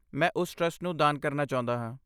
ਮੈਂ ਉਸ ਟਰਸਟ ਨੂੰ ਦਾਨ ਕਰਨਾ ਚਾਹੁੰਦਾ ਹਾਂ।